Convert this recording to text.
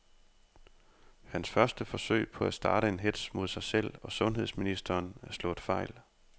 Hans første forsøg på at starte en hetz mod sig selv og sundheds ministeren er slået fejl.